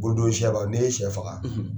Ko don caman ni i ye sɛ faga